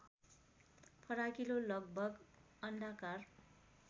फराकिलो लगभग अण्डाकार